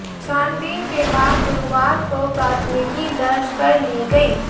छानबीन के बाद गुरुवार को प्राथमिकी दर्ज कर ली गई